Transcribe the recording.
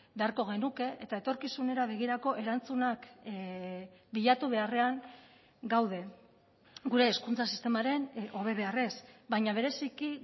beharko genuke eta etorkizunera begirako erantzunak bilatu beharrean gaude gure hezkuntza sistemaren hobe beharrez baina bereziki